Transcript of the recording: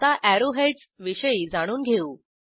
आता arrow heads विषयी जाणून घेऊ